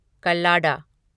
कल्लाडा